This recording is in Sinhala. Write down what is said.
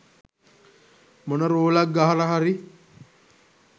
මොන රෝලක් ගහලා හරි